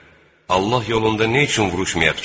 Allah yolunda nə üçün vuruşmayaq ki?